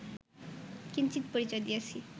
কিঞ্চিৎ পরিচয় দিয়াছি